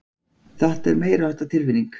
Þetta er meiriháttar tilfinning.